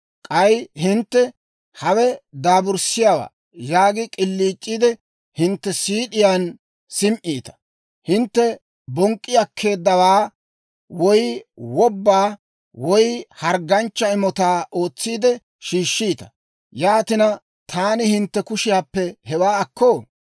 K'ay hintte, ‹Hawe daaburssiyaawaa› yaagi k'iliic'iide, hintte siid'iyaan sim"iita. «Hintte bonk'k'i akkeeddawaa woy wobbaa woy hargganchcha imotaa ootsiide shiishshiita. Yaatina, taani hintte kushiyaappe hewaa akkoo?